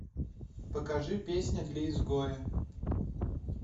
покажи песня для изгоя